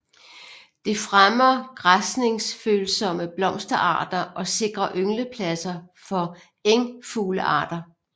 Det fremmer græsningsfølsomme blomsterarter og sikrer ynglepladser for engfuglearter